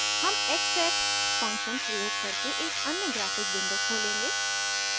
हम xset function प्रयोग करके एक अन्य ग्राफ़िक विंडो खोलेंगे